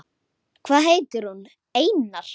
Ha- hann Bárður?